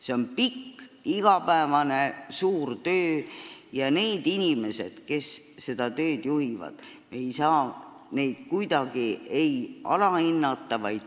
See on kaua kestev igapäevane suur töö ja me ei tohi inimesi, kes seda tööd juhivad, kuidagi alahinnata.